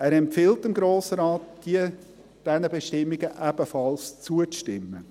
Er empfiehlt dem Grossen Rat, diesen Bestimmungen ebenfalls zuzustimmen.